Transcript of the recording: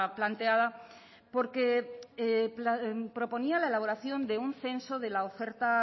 planteada porque proponía la elaboración de un censo de la oferta